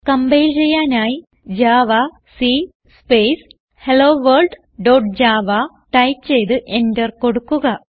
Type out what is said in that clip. compile ചെയ്യാനായി javac space hello world dot java type ചെയ്ത് enter കൊടുക്കുക